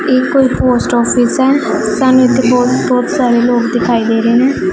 ਇੱਕ post office ਹੈ ਸਾਨੂੰ ਇੱਥੇ ਬਹੁਤ ਬਹੁਤ ਸਾਰੇ ਲੋਕ ਦਿਖਾਈ ਦੇ ਰਹੇ ਨੇ।